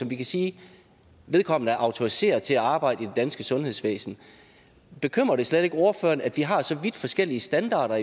vi kan sige at vedkommende er autoriseret til at arbejde i det danske sundhedsvæsen bekymrer det slet ikke ordføreren at vi har så vidt forskellige standarder